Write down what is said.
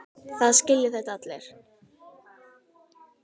Það skilja þetta allir.